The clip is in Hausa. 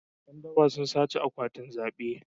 Yan daba sun sace akwatunan zabe.